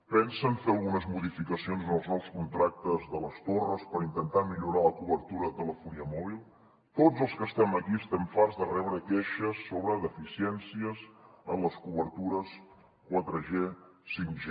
pensen fer algunes modificacions en els nous contractes de les torres per intentar millorar la cobertura de telefonia mòbil tots els que estem aquí estem farts de rebre queixes sobre deficiències en les cobertures 4g 5g